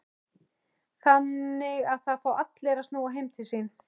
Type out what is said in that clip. Þannig að það fá allir að snúa heim til sín?